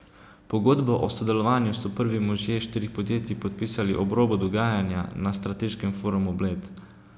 Pogodbo o sodelovanju so prvi možje štirih podjetij podpisali ob robu dogajanja na Strateškem forumu Bled.